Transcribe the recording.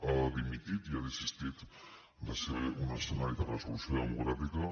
ha dimitit i ha desistit de ser un escenari de resolució democràtica